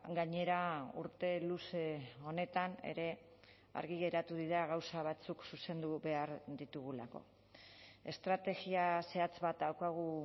gainera urte luze honetan ere argi geratu dira gauza batzuk zuzendu behar ditugulako estrategia zehatz bat daukagu